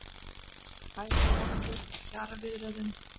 Hægagangur í kjaraviðræðum